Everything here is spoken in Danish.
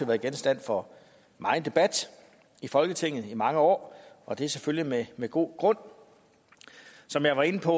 været genstand for megen debat i folketinget i mange år og det er selvfølgelig med god grund som jeg var inde på